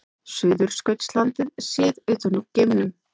Suðurskautslandið séð utan úr geimnum.